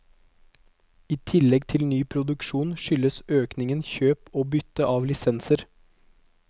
I tillegg til ny produksjon skyldes økningen kjøp og bytte av lisenser.